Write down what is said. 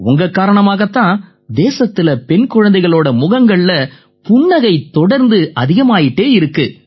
உங்க காரணமாத் தான் தேசத்தில பெண் குழந்தைகளோட முகங்கள்ல புன்னகை தொடர்ந்து அதிகமாயிட்டு இருக்கு